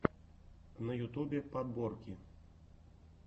на ютубе подборки